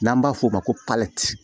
N'an b'a f'o ma ko